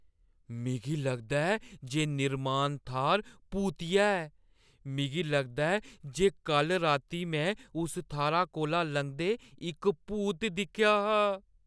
मिगी लगदा ऐ जे निर्माण थाह्‌र भूतिया ऐ। मिगी लगदा ऐ जे कल्ल राती में उस थाह्‌रा कोला लंघदे इक भूत दिक्खेआ हा।